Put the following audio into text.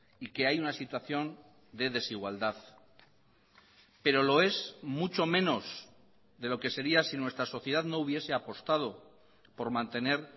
y que hay una situación de desigualdad pero lo es mucho menos de lo que sería si nuestra sociedad no hubiese apostado por mantener